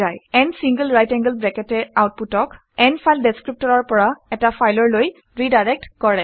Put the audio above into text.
n single right angled bracket এ আউটপুটক n file ডেচক্ৰিপটৰৰ পৰা এটা ফাইললৈ ৰিডাইৰেক্ট কৰে